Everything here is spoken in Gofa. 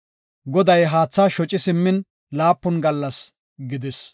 Goday haatha shoci simmin laapun gallas gidis.